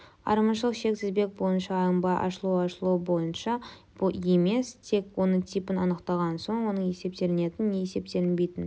айырмашылық шек тізбек бойынша алынбай ашылу ашылу боынша емес тек оның типін анықталған соң оның есептелінетін не есептелінбейтін